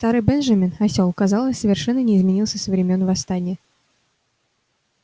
старый бенджамин осёл казалось совершенно не изменился со времён восстания